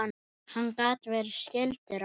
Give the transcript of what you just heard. Hann gat verið skyldur okkur.